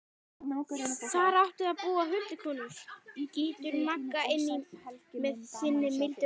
Þar áttu að búa huldukonur, skýtur Magga inn í með sinni mildu rödd.